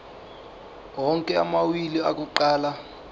onke amawili akuqala